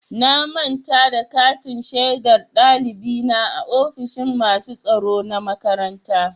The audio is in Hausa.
Na manta da katin shaidar ɗalibi na a ofishin masu tsaro na makaranta.